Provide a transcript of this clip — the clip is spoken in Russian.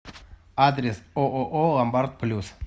адрес ооо ломбард плюс